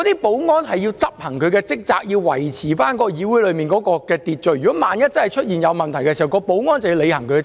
保安人員要執行他們的職責，以維持議會內的秩序，萬一出現任何問題時，保安人員須履行其職責。